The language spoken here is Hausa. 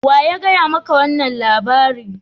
Wa ya gaya ma ka wannan labari?